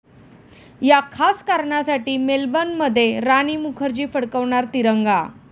या' खास कारणासाठी मेलबर्नमध्ये राणी मुखर्जी फडकवणार तिरंगा